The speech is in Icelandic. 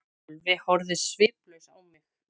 Sölvi horfði sviplaus á mig.